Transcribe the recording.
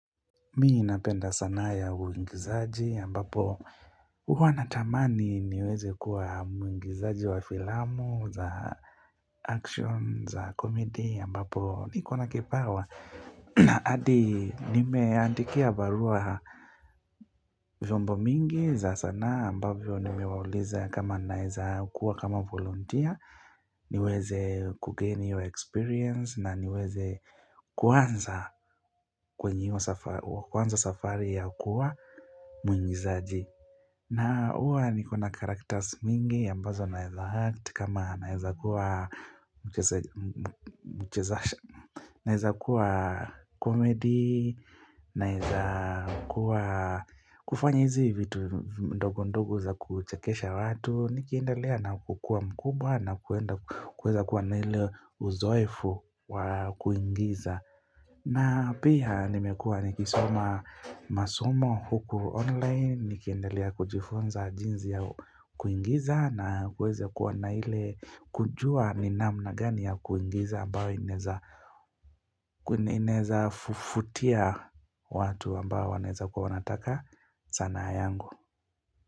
Mi ninapenda sanaa ya uigizaji ambapo huwa natamani niweze kuwa muigizaji wa filamu za action za komedi ambapo niko na kipawa. Na hadi nimeandikia barua vyombo mingi za sanaa ambavyo nimewauliza kama naiza kuwa kama volunteer. Niweze kugain hiyo experience na niweze kuanza kwenye hiyo kuanza safari ya kuwa mwingizaji na huwa niko na karakters mingi ambazo naeza act kama naeza kuwa mchezash. Inaeza kuwa komedi, naeza kuwa kufanya hizi vitu ndogo ndogo za kuchekesha watu Nikiendelea na kukuwa mkubwa na kuweza kuwa na ile uzoefu wa kuigiza na pia nimekuwa nikisoma masomo huku online. Nikiendelea kujifunza jinzi ya kuigiza na kuweza kuwa na ile kujua ni namna gani ya kuigiza ambayo inaeza fuvutia watu ambao wanaeza kuwa wanataka sanaa yangu.